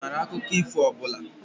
Ị maara akụkọ ifo ọ bụla?